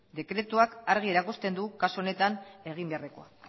dekretuak argi erakusten du kasu honetan egin beharrekoa